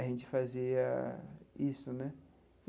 a gente fazia isso né.